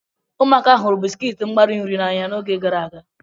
Ụmụaka hụrụ bisikiiti mgbari nri n'anya n'oge gara aga.